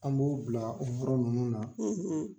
An b'o bila ninnu na.